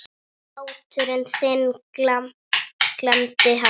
Hlátur þinn gladdi alla.